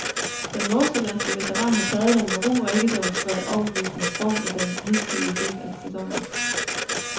Den nordsjællandske veteran har taget den med ro og ikke demonstreret overbevisende form i den hidtidige del af sæsonen.